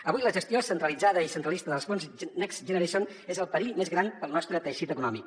avui la gestió centralitzada i centralista dels fons next generation és el perill més gran per al nostre teixit econòmic